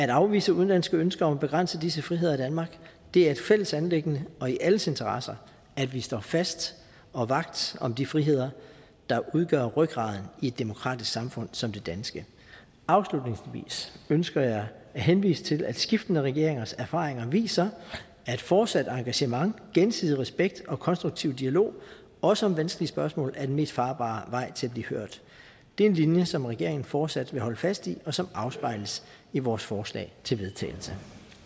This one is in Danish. afvise udenlandske ønsker om at begrænse disse friheder i danmark det er et fælles anliggende og i alles interesse at vi står fast og vagt om de friheder der udgør rygraden i et demokratisk samfund som det danske afslutningsvis ønsker jeg at henvise til at skiftende regeringers erfaringer viser at et fortsat engagement gensidig respekt og konstruktiv dialog også om vanskelige spørgsmål er den mest farbare vej til at blive hørt det er en linje som regeringen fortsat vil holde fast i og som afspejles i vores forslag til vedtagelse